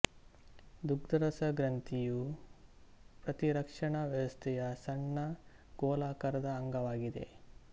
ದುಗ್ಧರಸ ಗ್ರಂಥಿ ಯು ಪ್ರತಿರಕ್ಷಣಾ ವ್ಯವಸ್ಥೆಯ ಸಣ್ಣ ಗೋಲಾಕಾರದ ಅಂಗವಾಗಿದೆ